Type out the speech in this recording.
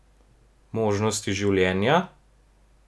Možnosti življenja?